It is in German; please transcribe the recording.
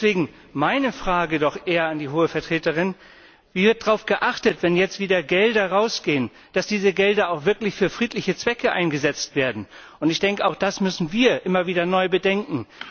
Deswegen meine Frage, doch eher an die Hohe Vertreterin Wie wird darauf geachtet, wenn jetzt wieder Gelder rausgehen, dass diese Gelder auch wirklich für friedliche Zwecke eingesetzt werden? Auch das müssen wir immer wieder neu bedenken.